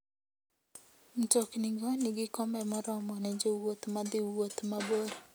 Mtoknigo nigi kombe moromo ne jowuoth madhi wuoth mabor.